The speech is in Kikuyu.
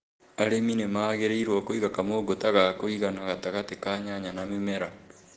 Arĩmi nĩ magĩrĩirũo kũiga kamũgũta ga kũigana gatagatĩ ka nyanya na mĩmera.